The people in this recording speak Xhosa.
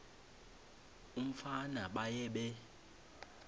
umfana baye bee